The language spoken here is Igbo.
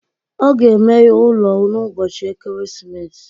Ọ ga-emeghe ụlọ ya n'ụbọchị Ekeresimesi